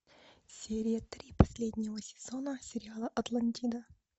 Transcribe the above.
серия три последнего сезона сериала атлантида